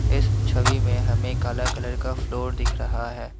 इस छवि में हमें काला कलर का फ्लोर दिख रहा है।